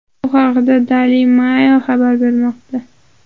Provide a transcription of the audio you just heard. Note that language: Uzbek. Bu haqda Daily Mail xabar qilmoqda .